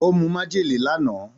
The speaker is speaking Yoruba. Ó mu májèlé lánàá.